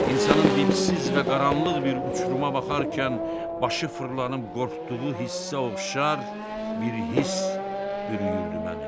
İnsanın dibsiz və qaranlıq bir uçuruma baxarkən başı fırlanıb qorxduğu hissə oxşar bir hiss bürüyürdü məni.